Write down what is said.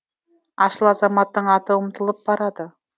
асыл азаматтың аты ұмытылып барады